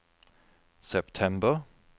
september